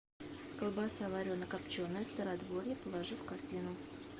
колбаса варено копченая стародворье положи в корзину